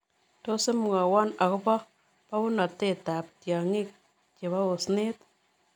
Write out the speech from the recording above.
Tos' imwawon agoboo bawunateetap tyaany'iik chebo oosyneet